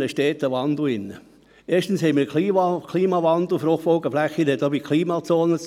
Die Gemeinde muss doch wissen, wo der Boden gut ist und wo er weniger gut ist und